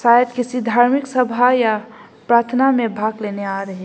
शायद किसी धार्मिक सभा या प्रार्थना में भाग लेने आ रहे--